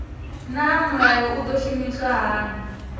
naa mulayo u do shumiswa hani